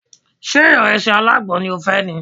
Ṣé ìrẹsì alágbọn ni o fẹ́ ni?